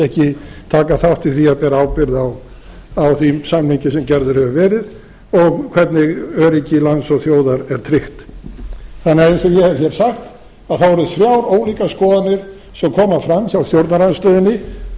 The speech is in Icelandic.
ekki taka þátt í því að bera ábyrgð á þeim samningi sem gerður hefur verið og hvernig öryggi lands og þjóðar er tryggt þannig að eins og ég hef hér sagt eru þrjár ólíkar skoðanir sem koma fram hjá stjórnarandstöðunni þótt